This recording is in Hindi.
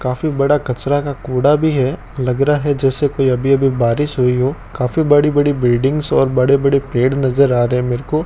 काफी बड़ा कचरा का कूड़ा भी है लग रहा है जैसे कोई अभी अभी बारिश हुई हो काफी बड़ी बड़ी बिल्डिंग्स और बड़े बड़े पेड़ नज़र आ रहे है मेरको।